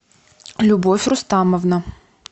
любовь рустамовна